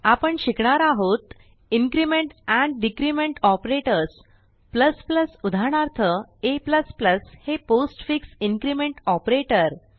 आपण शिकणार आहोत इन्क्रिमेंट एंड डिक्रिमेंट ऑपरेटर्स उदाहरणार्थ a हे पोस्टफिक्स इन्क्रिमेंट ऑपरेटर